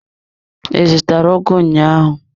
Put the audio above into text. I zụtara ugu ụnyaahụ?